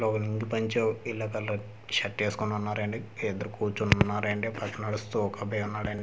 ఒకరు లుంగీ పంచ yellow colour shirt వేసుకుని ఉన్నారండి ఇద్దరు కూర్చొని ఉన్నారండి పక్కన నడుస్తూ ఒక అబ్బాయి ఉన్నాడండి.